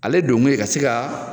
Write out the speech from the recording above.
Ale donkun ye ka se ka